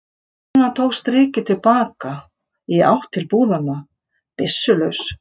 áður en hann tók strikið til baka, í átt til búðanna, byssulaus.